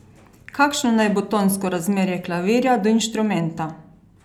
Kakšno naj bo tonsko razmerje klavirja do instrumenta?